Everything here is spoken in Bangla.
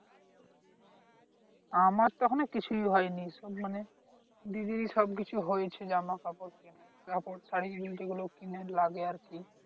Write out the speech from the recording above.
আমার তো এখনো কিছুই হয়নি শুধু মানে দিদিরই সব কিছু হয়েছে জামা কাপড় কিনে কাপড় শাড়ি যে যে গুলো কিনা লাগে আরকি